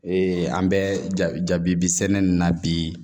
an bɛ jabi bi sɛnɛ nin na bi